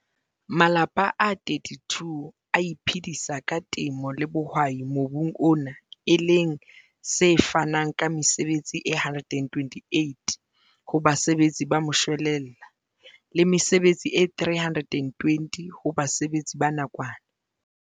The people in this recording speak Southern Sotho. Malapa a 32 a iphedisa ka temo le bohwai mobung ona e leng se fanang ka mesebetsi e 128 ho basebetsi ba moshwelella le mesebetsi e 320 ho basebetsi ba nakwana.